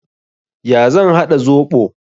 Ya zan haɗa zoɓo?